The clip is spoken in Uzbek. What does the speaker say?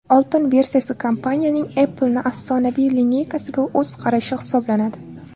Oltin versiyasi kompaniyaning Apple’ni afsonaviy lineykasiga o‘z qarashi hisoblanadi.